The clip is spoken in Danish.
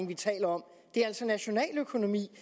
vi taler om det er altså nationaløkonomi